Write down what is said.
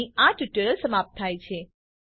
અહીં આ ટ્યુટોરીયલ સમાપ્ત થાય છે